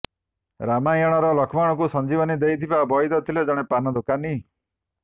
ରାମାୟଣରେ ଲକ୍ଷ୍ମଣଙ୍କୁ ସଞ୍ଜିବନୀ ଦେଇଥିବା ବଇଦ ଥିଲେ ଜଣେ ପାନ ଦୋକାନୀ